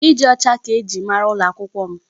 Ịdị ọcha ka eji mara ụlọ akwụkwọ m.